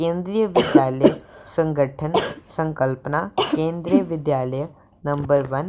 केंद्रीय विद्यालय संगठन संकल्पना केंद्रीय विद्यालय नंबर वन --